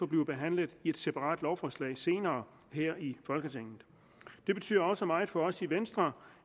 blive behandlet i et separat lovforslag senere her i folketinget det betyder også meget for os i venstre